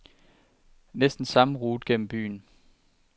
Næsten samme rute gennem byen.